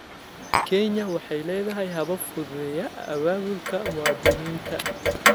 Kenya waxay leedahay habab fududeeya abaabulka muwaadiniinta.